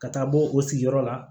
Ka taa bɔ o sigiyɔrɔ la